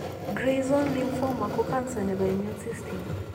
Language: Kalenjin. Gray zone lymphoma ko cancer nebo immune system